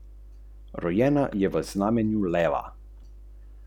Zdaj ne prejemamo nič več.